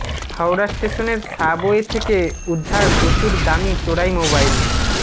হাওড়া স্টেশনের সাবওয়ে থেকে উদ্ধার প্রচুর দামি চোরাই মোবাইল